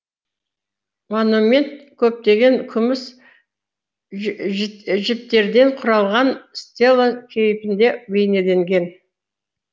монумент көптеген күміс жіптерден құралған стела кейпінде бейнеленген